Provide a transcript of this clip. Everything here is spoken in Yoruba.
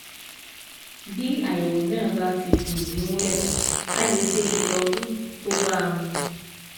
Bí àyẹ̀wò náà bá ti fìdí múlẹ̀, a lè ṣe ìtọ́jú tó bá a mu